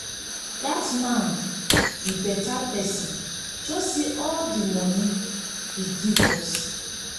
dat man be beta person just see all the money he give give us